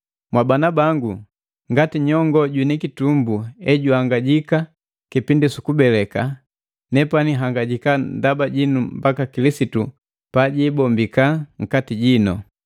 Mwabana bangu, ngati nyongoo jwini kitumbu ejuhangajika kipindi sukubeleka, nepani nhangajika ndaba jinu mbaka Kilisitu pajibombika nkati jinu.